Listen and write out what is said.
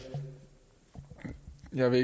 er vi